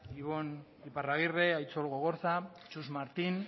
ibon iparragirre aitzol gogorza txus martin